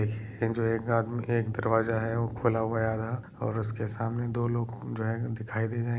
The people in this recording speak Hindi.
--एक जो एक आदमी एक दरवाजा है वो खुला हुआ हैं आधा और उसके सामने दो लोग घूम रहे है दिखाई दे रहे